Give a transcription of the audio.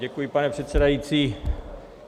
Děkuji, pane předsedající.